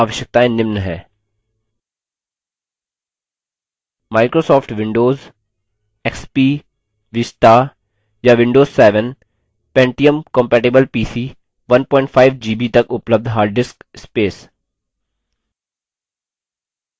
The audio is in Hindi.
microsoft windows service pack 4 और उच्च xp एक्सपी vista vista या windows 7; pentiumcompatible pc 15 gb तक उपलब्ध hard disk space